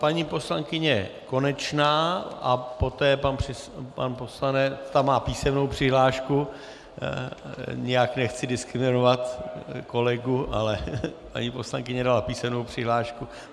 Paní poslankyně Konečná a poté pan poslanec - ta má písemnou přihlášku, nijak nechci diskriminovat kolegu, ale paní poslankyně dala písemnou přihlášku.